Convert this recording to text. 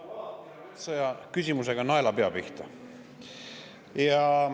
Nagu alati, tabasid sa oma küsimusega naelapea pihta.